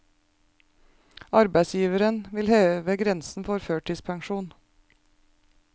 Arbeidsgiverne vil heve grensen for førtidspensjon.